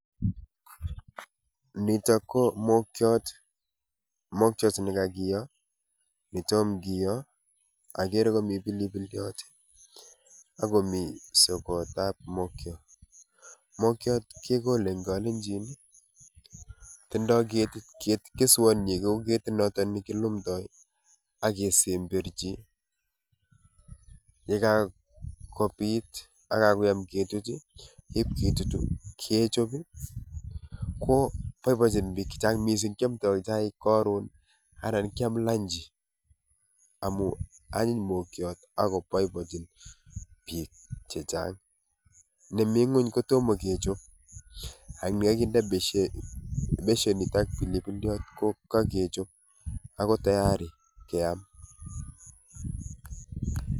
Nitok ko mokiot, mokiot ne kakiyo, ne tom kiyo akere komi pilipiliot ak komi sokotab mokiot. Mokiot kekole eng kalenjin ii, tindoi keswonyi kou ketinoto ne kilumdoi ii ak kesemberchi, ye kakobit ak kakoyam ketut ii, ip kitutu kechop ii, ko boibochin piik chechang mising, kyamdoi chaik karon anan kyam lunch amu anyiny mokiot ako boibochin piik che chang. Ni mi nguny ko tomo kechop ak ne kakinde beshenit ak pilipiliot ko kakechop ako tayari keam.